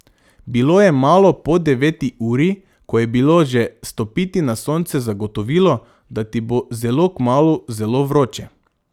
Bilo je malo po deveti uri, ko je bilo že stopiti na sonce zagotovilo, da ti bo zelo kmalu zelo vroče.